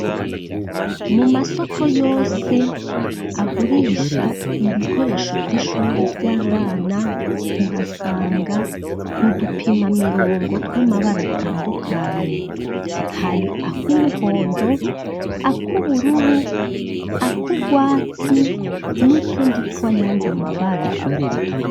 Mumasoko yose agurisha ibikoresho vy’ishuri vy’abana uhasanga udupima mirongo tw’amabara atandukanye hari akumuhondo, akubururu, akugwatsi, nutundi twayandi mabara.